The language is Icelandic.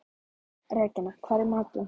Regína, hvað er í matinn?